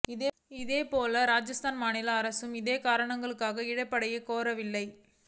இதேபோல ராஜஸ்தான் மாநில அரசும் இதர காரணங்களுக்காக இழப்பீட்டை கோரவில்லை